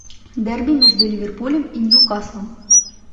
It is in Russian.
дерби между ливерпулем и ньюкаслом